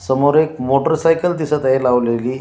समोर एक मोटरसायकल दिसत आहे लावलेली.